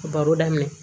Baro daminɛ